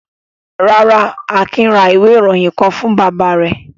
Rárá, Akin ra ìwé-ìròyìn kan fún bàbá rẹ̀.